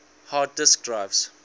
hard disk drives